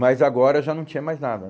Mas agora já não tinha mais nada,